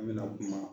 An bɛna kuma